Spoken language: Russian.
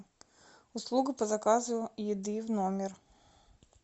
услуга по заказу еды в номер